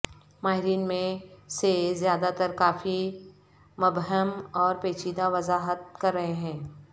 ماہرین میں سے زیادہ تر کافی مبہم اور پیچیدہ وضاحت کر رہے ہیں